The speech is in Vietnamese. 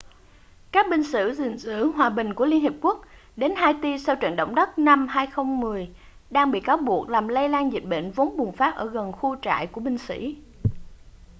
các binh sĩ gìn giữ hòa bình của liên hiệp quốc đến haiti sau trận động đất năm 2010 đang bị cáo buộc làm lây lan dịch bệnh vốn bùng phát ở gần khu trại của binh sĩ